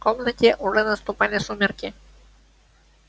в комнате уже наступали сумерки